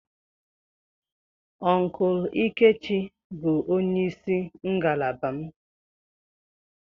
Uncle lkechi bu onye isi ngalaba m.